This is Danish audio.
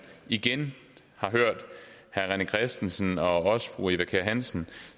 igen har hørt herre rené christensen og også fru eva kjer hansen